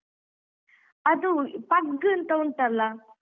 ಅದು Pug ಅಂತ ಉಂಟಲ್ಲ.